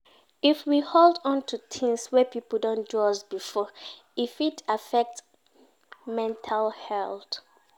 If we hold on to things wey pipo don do us before, e fit affect mental health